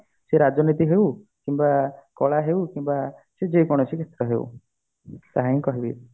ସେ ରାଜନୀତି ହଉ କିମ୍ବା କଳା ହଉ କିମ୍ବା ସେ ଯେ କୌଣସି କ୍ଷେତ୍ର ହଉ ତାହା ହିଁ କହିବି